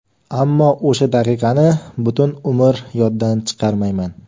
Ammo o‘sha daqiqani butun umr yoddan chiqarmayman.